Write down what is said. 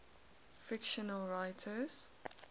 fictional writers